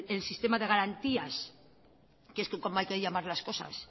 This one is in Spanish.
el sistema de garantías que es cómo hay que llamar las cosas